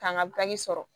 K'an ka bange sɔrɔ